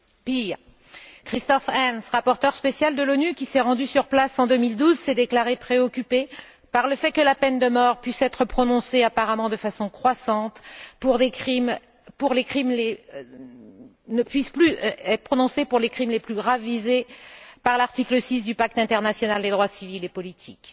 Pire, Christof Heyns, rapporteur spécial de l'ONU, qui s'est rendu sur place en 2012, s'est déclaré préoccupé par le fait que la peine de mort puisse être prononcée apparemment de façon croissante, et a insisté pour qu'elle ne puisse plus l'être que pour les crimes les plus graves visés par l'article 6 du pacte international des droits civils et politiques.